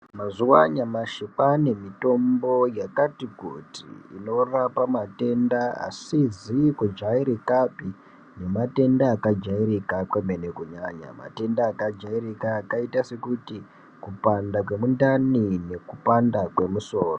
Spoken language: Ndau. Mazuva anyamashi kwane mitombo yakati kuti inorapa matenda asizi kujairikapi nematenda akajairika kwemene kunyanya matenda akaita sekuti kupanda kwemundani nekupanda kwesoro.